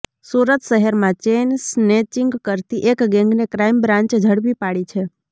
સુરત શહેરમાં chain snatching કરતી એક ગેંગને ક્રાઈમ બ્રાન્ચે ઝડપી પાડી છે